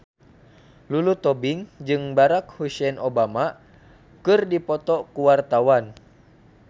Lulu Tobing jeung Barack Hussein Obama keur dipoto ku wartawan